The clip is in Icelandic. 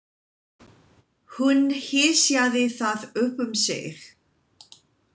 Hún hysjaði það upp um sig.